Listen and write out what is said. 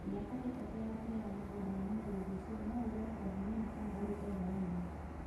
Mĩaka ĩtatũ ya mbere ya mũgũnda wa mũgũnda ũcio, no ũgũre o hanini kana ũrute thawani